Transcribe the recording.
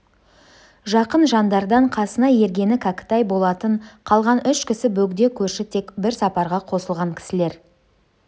жақын жандардан қасына ергені кәкітай болатын қалған үш кісі бөгде көрші тек бір сапарға қосылған кісілер